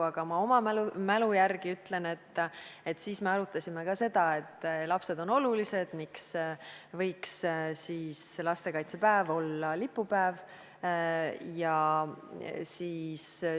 Aga ma oma mälu järgi ütlen, et siis me arutasime ka seda, et lapsed on olulised ja miks ei võiks siis ka lastekaitsepäev olla lipupäev.